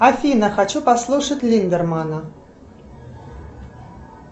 афина хочу послушать линдермана